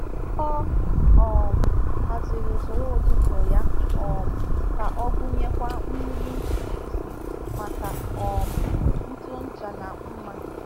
Ọ um haziri usoro ụtụtụ ya um ka ọ gụnyekwa mmiri ntutu isi maka um ntụ ọcha na mma.